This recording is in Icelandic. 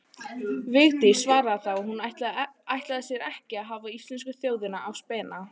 Vigdís svaraði þá að hún ætlaði sér ekki að hafa íslensku þjóðina á spena.